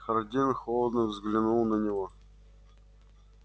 хардин холодно взглянул на него